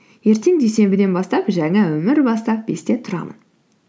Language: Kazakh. ертең дүйсенбіден бастап жаңа өмір бастап бесте тұрамын